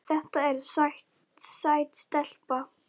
Þetta er sæt stelpa.